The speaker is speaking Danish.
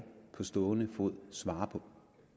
på stående fod svare på